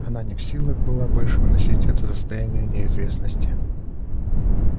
она не в силах была больше выносить это состояние неизвестности